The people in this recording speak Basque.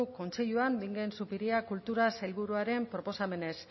kontseiluan bingen zupiria kultura sailburuaren proposamenez